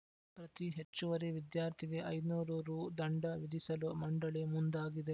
ಪ್ರತೀ ಹೆಚ್ಚುವರಿ ವಿದ್ಯಾರ್ಥಿಗೆ ಐದುನೂರು ರು ದಂಡ ವಿಧಿಸಲು ಮಂಡಳಿ ಮುಂದಾಗಿದೆ